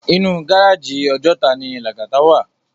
Inú gáráji Òjòtá ni Lagata wá